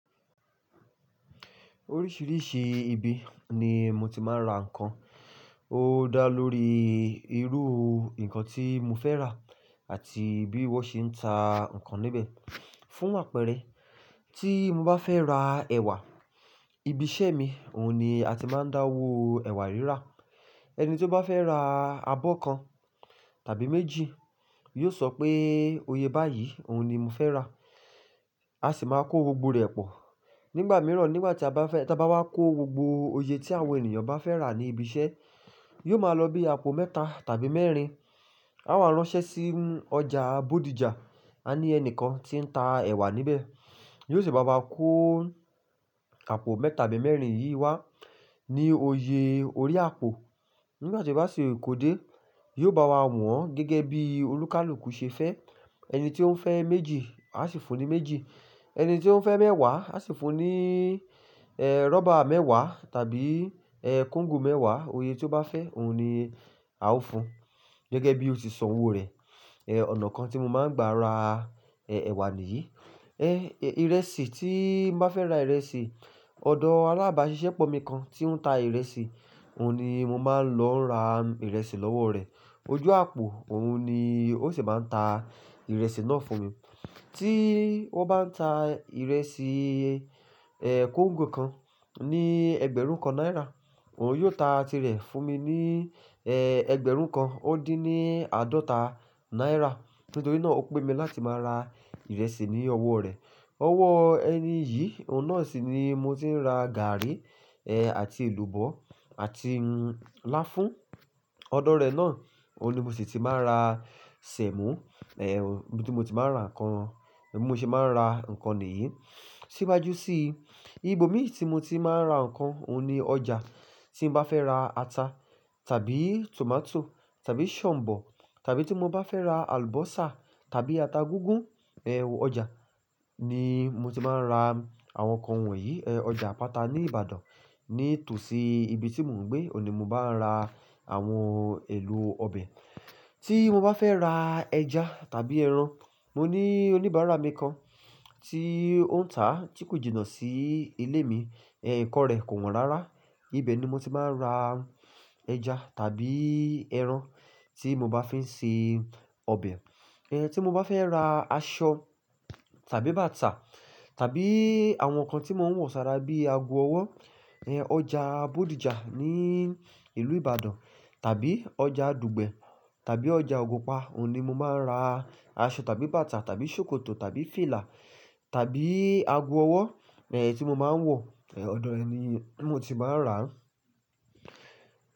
Oríṣiríṣi ibi ni mo ti máa ń ra ǹkan. Ó dá lórí irú ǹkan tí mo fẹ́ rà àti bí wọ́n ṣe ń ta ǹkan níbẹ̀. Fún àpẹẹrẹ, tí mo bá fẹ́ ra ẹ̀wà, ibi iṣẹ́ mi òun ni a ti máa ń dáwó ẹ̀wà rírà. Ẹni tí ó bá fẹ́ ra abọ́ kan tàbí méjì, yóò sọ pé oye báyìí òun ni mo fẹ́ rà, a sì máa kó gbogbo rẹ̀ pọ̀. Nígbà mìíràn nígbà tí a bá fẹ́, tí a bá wá kó gbogbo oye tí àwọn ènìyàn bá fẹ́ rà ní ibi iṣẹ́, yóò máa lọ bí àpò mẹ́ta tàbí mẹ́rin. A máa ránṣẹ́ sí ọjà Bódìjà, a ní ẹni kan tí ń ta ẹ̀wà níbẹ̀, yóò sì bá wa kó àpò mẹ́ta tàbí mẹ́rin yìí wá ní oyè orí àpò. Nígbà tí ó bá ṣi kò dé, yóò bá wa wọ̀n gẹ́gẹ́ bí olùkálùkù ṣe fẹ́. Ẹni tí ó ń fẹ́ méjì a sì fun ní méjì, ẹni tí ó ń fẹ́ mẹ́wàá a sì fun ní, eh, rọ́bà mẹ́wàá tàbí, eh, kóńgò mẹ́wàá, oye tí ó bá fẹ́ òun ni a ó fun gẹ́gẹ́ bí ó ti sọ owó rẹ̀. Eh, ọ̀nà kan tí mo máa ń gbà ra, eh, ẹ̀wà nì yìí. Eh, ìrẹsì, tí n bá fẹ́ ra ìrẹsì, ọ̀dọ aláàbá siṣẹ́pọ̀ mi kan tí ó ń ta ìrẹsì, òun ni mo máa ń lọ ra ìrẹsì lọ́wọ́ rẹ̀. Ojú àpò òun ni ó sì máa ń ta ìrẹsì náà fún mi. Tí ó bá ń ta ìrẹsì, eh, kóńgò kan ní ẹgbẹ̀rún kan náírà, òun yóò ta tirẹ̀ fún mi ní, eh, ẹgbẹ̀rún kan ó dín ní àádọ́ta náírà. Nítorí náà ó pè mi láti máa ra ìrẹsì ní owó rẹ̀. Owó ẹni yìí, òun náà sì ni mo ti ń ra gàárì, eh, àti èlùbọ́ àti láfún. Ọ̀dọ̀ rẹ̀ náà òun ni mo sì ti máa ń ra sẹ̀mọ́, eh, bí tí mo ti máa ń ra ǹkan, bí mo ṣe máa ń ra ǹkan nìyí. Síwájú sí ibi omin tí mo ti máa ń ra ǹkan, òun ni ọjà. Tí n bá fẹ́ ra ata tàbí tòmátò tàbí ṣọ̀mbọ̀ tàbí tí mo bá fẹ́ ra àlùbọ́sà tàbí ata gígún, eh, ọjà ni mo ti máa ń ra àwọn ǹkan wọ̀nyí. Eh, ọjà Àpáta ní Ìbàdàn. Nítòsí ibi tí mò ń gbé, òouní mo bá ń ra àwọn èlò ọbẹ̀. Tí mo bá fẹ́ ra ẹja tàbí ẹran, mo ní oníbàárà mi kan tí ó ń tà tí kò jìnà sí ilé mi. Eh, nǹkan rẹ̀ kò wọ́n rárá. Ibe ni mo ti máa ń ra ẹja tàbí ẹran tí mo bá fẹ́ ń ṣe ọbẹ̀. Eh, tí mo bá fẹ́ ra aṣọ tàbí bàtà tàbí àwọn ǹkan tí mo ń wọ̀ sára bíi ago ọwọ́, eh, ọjà Bódìjà ní ìlú Ìbàdàn tàbí ọjà dùgbẹ̀ tàbí ọjà Ogunpa òun ni mo máa ń ra aṣọ tàbí bàtà tàbí sókótò tàbí fìlà tàbí ago ọwọ́, eh, tí mo máa ń wọ̀, eh, ọ̀dọ̀ rẹ̀ ni mo ti máa ń rà á.